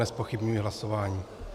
Nezpochybňuji hlasování.